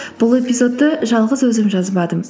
бұл эпизодты жалғыз өзім жазбадым